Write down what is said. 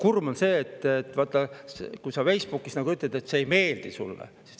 Kurb on see, kui sa vaid Facebookis ütled, et see ei meeldi sulle.